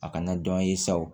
A kana dɔn ye sa o